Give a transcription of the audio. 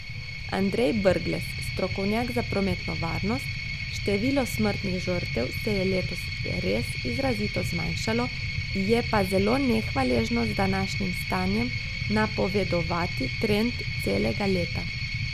Andrej Brglez, strokovnjak za prometno varnost: "Število smrtnih žrtev se je letos res izrazito zmanjšalo, je pa zelo nehvaležno z današnjim stanjem napovedovati trend celega leta.